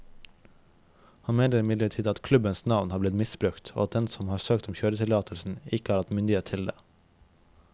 Han mener imidlertid at klubbens navn har blitt misbrukt, og at den som har søkt om kjøretillatelsen ikke har hatt myndighet til det.